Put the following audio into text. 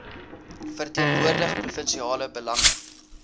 verteenwoordig provinsiale belange